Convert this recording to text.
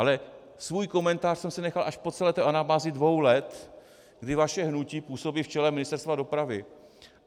Ale svůj komentář jsem si nechal až po celé té anabázi dvou let, kdy vaše hnutí působí v čele Ministerstva dopravy.